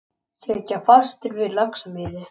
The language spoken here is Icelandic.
Sitja fastir við Laxamýri